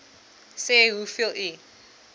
sê hoeveel u